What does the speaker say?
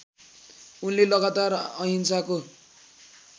उनले लगातार अहिंसाको